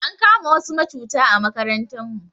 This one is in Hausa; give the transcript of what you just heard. Ankama wasu macuta a makarantan mu